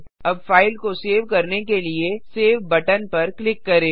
अब फाइल को सेव करने के लिए सेव बटन पर क्लिक करें